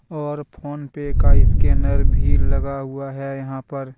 और PhonePe का scanner भी लगा हुआ हैं यहां पर।